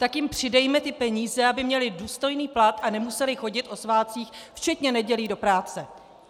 Tak jim přidejme ty peníze, aby měly důstojný plat a nemusely chodit o svátcích, včetně nedělí do práce.